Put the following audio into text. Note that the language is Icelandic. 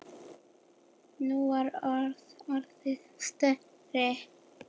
Nú var hann orðinn stærri.